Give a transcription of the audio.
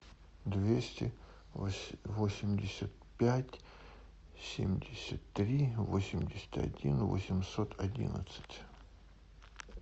двести восемьдесят пять семьдесят три восемьдесят один восемьсот одиннадцать